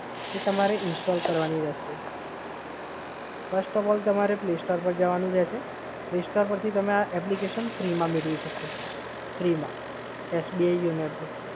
જે તમારે install કરવાની રહેશે. first of all તમારે play store પર જવાનું રહેશે. play store પરથી તમારે આ applicationfree મા મેળવી શકશો સર. ફ્રિ માં. SBI YONO app